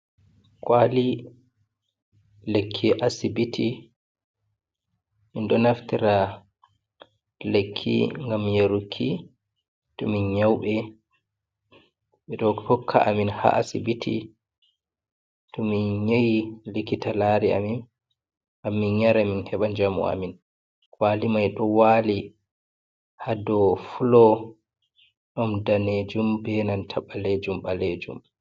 Kwali lekki asibiti min ɗo naftira lekki gam yaruki to min nyauɓ, ɓe hokka amin ha asibiti tu min nyawi, likita lari amin gammin nyara min heɓa jamu amin, kwali mai ɗo wali hado folo ɗon danejum benanta balejum ɓalejum.